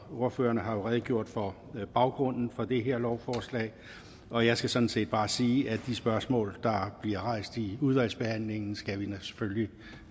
ordførerne har jo redegjort for baggrunden for det her lovforslag og jeg skal sådan set bare sige at de spørgsmål der bliver rejst i udvalgsbehandlingen skal vi